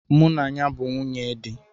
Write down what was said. Mụ na ya bu nwunye di